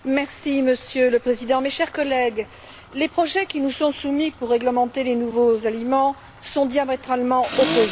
Monsieur le Président, mes chers collègues, les projets qui nous sont soumis pour réglementer les nouveaux aliments sont diamétralement opposés.